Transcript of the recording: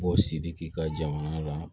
Bɔ sidi k'i ka jamana la